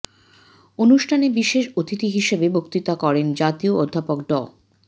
অনুষ্ঠানে বিশেষ অতিথি হিসেবে বক্তৃতা করেন জাতীয় অধ্যাপক ড